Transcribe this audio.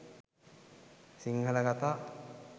sinhala katha